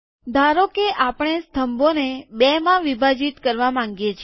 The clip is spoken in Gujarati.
ધારો કે આપણે સ્તંભોને બે માં વિભાજિત કરવા માંગીએ છીએ